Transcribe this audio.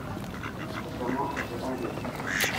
Eshomo airrita nkinejik.